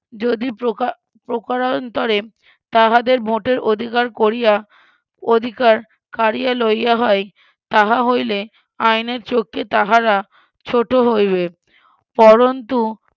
যদি ~ প্রকারান্তরে তাহাদের ভোটের অধিকার করিয়া অধিকার কারিয়া লইয়া হয় তাহা হইলে আইনের চোখকে তাহারা ছোটো হইবে পরুন্তু